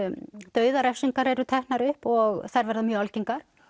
dauðarefsingar eru teknar upp og þær verða mjög algengar